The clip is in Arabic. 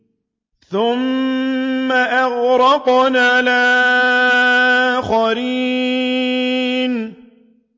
ثُمَّ أَغْرَقْنَا الْآخَرِينَ